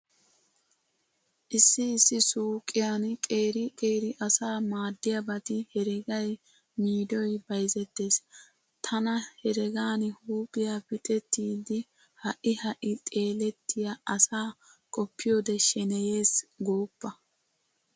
Issi issi suuqiyan qeeri qeeri asaa maaddiyabati heregay, miidoy bayzettees. Tana heregan huuphiya pixettidi ha"i ha"i xeelettiya asaa qoppiyode sheneyees gooppa.